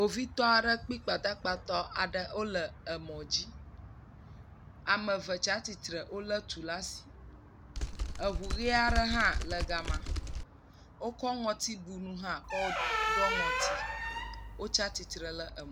Kpovitɔ aɖe kpi gbadagba tɔ aɖe le emɔ dzi. Ame eve tsia tsitre wo le tu ɖe asi. Eŋu ʋie aɖe hã le ga ma. Wokɔ ŋɔtibunu kɔ ɖɔ ŋɔti. Wo tsia tsitre hã………….